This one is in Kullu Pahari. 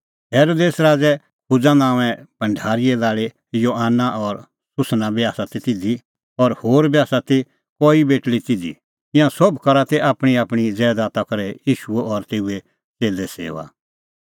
हेरोदेस राज़े खुजा नांओंए भढारीए लाल़ी योआना और सूसना बी आसा ती तिधी और होर बी आसा ती कई बेटल़ी तिधी ईंयां सोभ करा ती आपणींआपणीं ज़ैदात करै ईशू और तेऊए च़ेल्ले सेऊआ